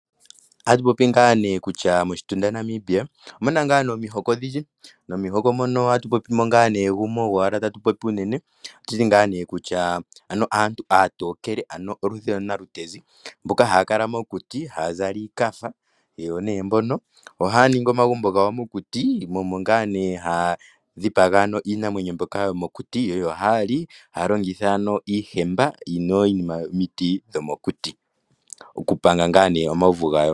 Moshitunda Namibia omuna omihoko odhindji, gumwe gwomomihoko ogwo aantu aatokele ano oludhi lwanalutenzi aantu mbono haya kala mokuti nohaya zala iikafa. Ohaya ningi omagumbo gawo mokuti mo omo ngaa haya dhipaga iinamwenyo yomokuti yalye. Ohaya longitha iihemba okupanga omauvu gawo.